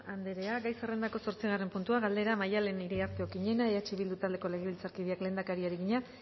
andrea gai zerrendako zortzigarren puntua galdera maddalen iriarte okiñena eh bildu taldeko legebiltzarkideak lehendakariari egina